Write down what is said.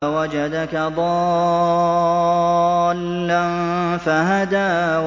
وَوَجَدَكَ ضَالًّا فَهَدَىٰ